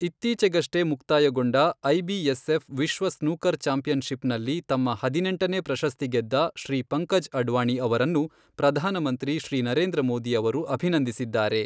ಇತ್ತೀಚೆಗಷ್ಟೇ ಮುಕ್ತಾಯಗೊಂಡ ಐಬಿಎಸ್ಎಫ್ ವಿಶ್ವ ಸ್ನೂಕರ್ ಚಾಂಪಿಯನ್ ಷಿಪ್ ನಲ್ಲಿ ತಮ್ಮ ಹದಿನೆಂಟನೇ ಪ್ರಶಸ್ತಿ ಗೆದ್ದ ಶ್ರೀ ಪಂಕಜ್ ಅಡ್ವಾಣಿ ಅವರನ್ನು ಪ್ರಧಾನಮಂತ್ರಿ ಶ್ರೀ ನರೇಂದ್ರಮೋದಿ ಅವರು ಅಭಿನಂದಿಸಿದ್ದಾರೆ.